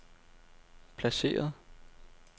placeret